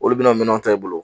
Olu bɛna minɛnw ta i bolo